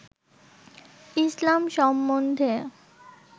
ইসলাম সম্বন্ধে